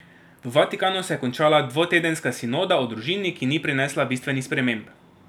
V Vatikanu se je končala dvotedenska sinoda o družini, ki ni prinesla bistvenih sprememb.